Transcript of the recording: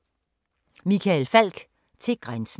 Michael Falch: Til grænsen